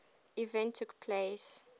event took place